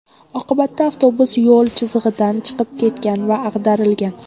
Oqibatda avtobus yo‘l chizig‘idan chiqib ketgan va ag‘darilgan.